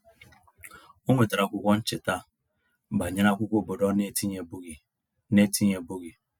O nwetara akwụkwọ ncheta banyere akwụkwọ obodo ọ n'etinyebeghị n'etinyebeghị